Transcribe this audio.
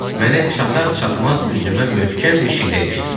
Mənə çatar-çatmaz üzümə möhkəm bir şillə ilişdirdi.